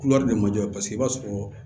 de ma jɔ paseke i b'a sɔrɔ